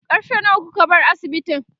karfe nawa kuka bar asibitin?